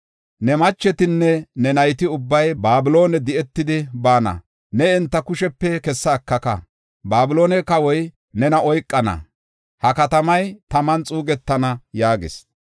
Ne machetinne ne nayti ubbay Babiloone di7etidi baana. Ne enta kushepe kessa ekaka. Babiloone kawoy nena oykana. Ha katamay taman xuugetana” yaagis.